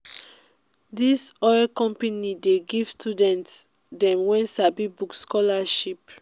dis oil company dey give student dem wey sabi book scholarship.